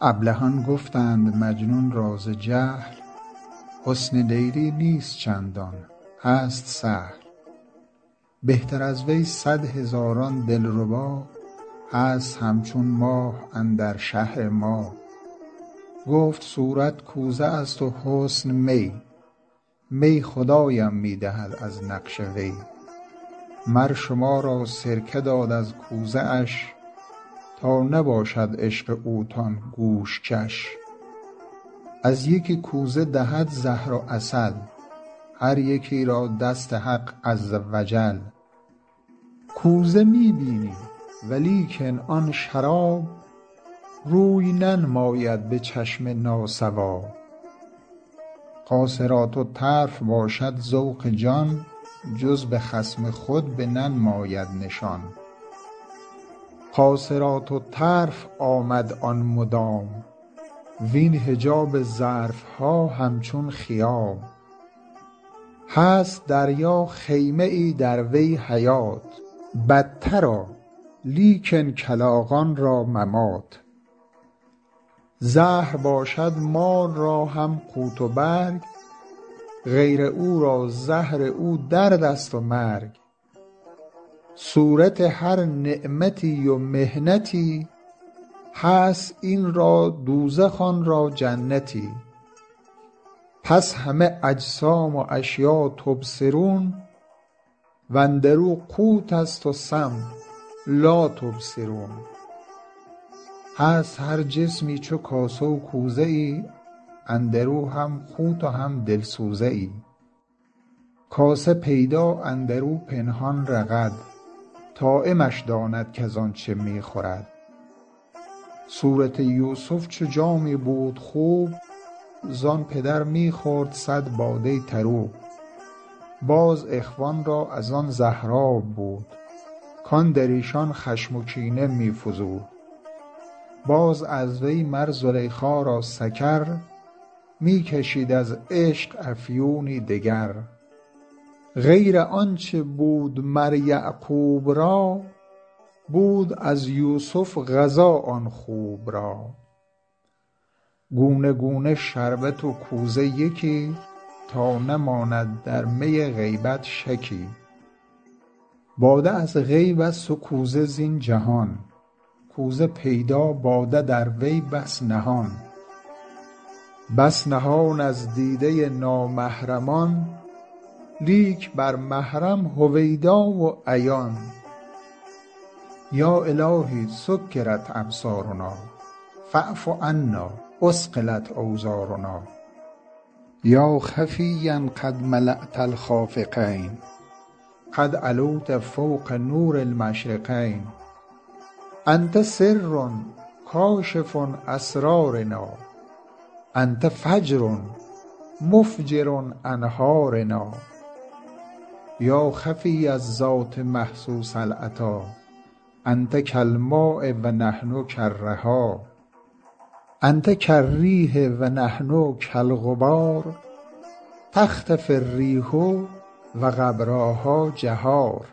ابلهان گفتند مجنون را ز جهل حسن لیلی نیست چندان هست سهل بهتر از وی صد هزاران دلربا هست هم چون ماه اندر شهر ما گفت صورت کوزه است و حسن می می خدایم می دهد از نقش وی مر شما را سرکه داد از کوزه اش تا نباشد عشق اوتان گوش کش از یکی کوزه دهد زهر و عسل هر یکی را دست حق عز و جل کوزه می بینی ولیکن آن شراب روی ننماید به چشم ناصواب قاصرات الطرف باشد ذوق جان جز به خصم خود بننماید نشان قاصرات الطرف آمد آن مدام وین حجاب ظرف ها هم چون خیام هست دریا خیمه ای در وی حیات بط را لیکن کلاغان را ممات زهر باشد مار را هم قوت و برگ غیر او را زهر او دردست و مرگ صورت هر نعمتی و محنتی هست این را دوزخ آن را جنتی پس همه اجسام و اشیا تبصرون واندرو قوتست و سم لاتبصرون هست هر جسمی چو کاسه و کوزه ای اندرو هم قوت و هم دل سوزه ای کاسه پیدا اندرو پنهان رغد طاعمش داند کزان چه می خورد صورت یوسف چو جامی بود خوب زان پدر می خورد صد باده طروب باز اخوان را از آن زهراب بود کان در ایشان خشم و کینه می فزود باز از وی مر زلیخا را سکر می کشید از عشق افیونی دگر غیر آنچ بود مر یعقوب را بود از یوسف غذا آن خوب را گونه گونه شربت و کوزه یکی تا نماند در می غیبت شکی باده از غیبست و کوزه زین جهان کوزه پیدا باده در وی بس نهان بس نهان از دیده نامحرمان لیک بر محرم هویدا و عیان یا إلهی سکرت أبصارنا فاعف عنا أثقلت أوزارنا یا خفیا قد ملأت الخافقین قد علوت فوق نور المشرقین أنت سر کاشف أسرارنا أنت فجر مفجر أنهارنا یا خفی الذات محسوس العطا أنت کالماء و نحن کالرحا أنت کالریح و نحن کالغبار تختفی الریح و غبراها جهار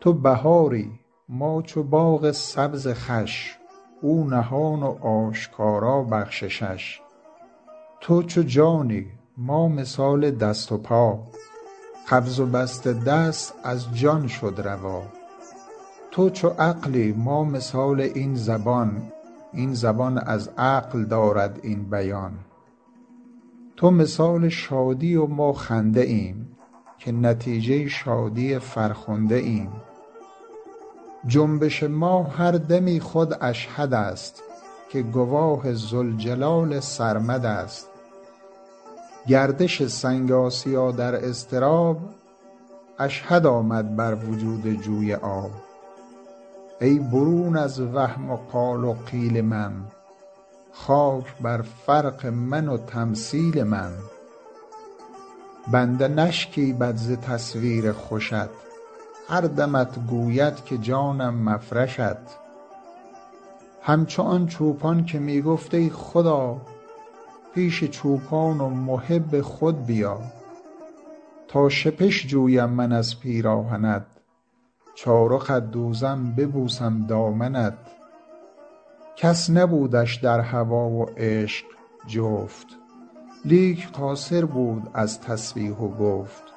تو بهاری ما چو باغ سبز خوش او نهان و آشکارا بخششش تو چو جانی ما مثال دست و پا قبض و بسط دست از جان شد روا تو چو عقلی ما مثال این زبان این زبان از عقل دارد این بیان تو مثال شادی و ما خنده ایم که نتیجه شادی فرخنده ایم جنبش ما هر دمی خود اشهدست که گواه ذوالجلال سرمدست گردش سنگ آسیا در اضطراب اشهد آمد بر وجود جوی آب ای برون از وهم و قال و قیل من خاک بر فرق من و تمثیل من بنده نشکیبد ز تصویر خوشت هر دمت گوید که جانم مفرشت هم چو آن چوپان که می گفت ای خدا پیش چوپان و محب خود بیا تا شپش جویم من از پیراهنت چارقت دوزم ببوسم دامنت کس نبودش در هوا و عشق جفت لیک قاصر بود از تسبیح و گفت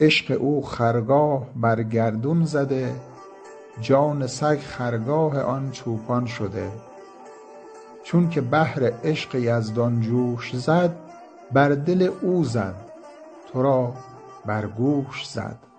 عشق او خرگاه بر گردون زده جان سگ خرگاه آن چوپان شده چونک بحر عشق یزدان جوش زد بر دل او زد ترا بر گوش زد